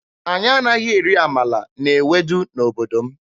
Anyị anaghị eri amala na ewedu n'obodo m.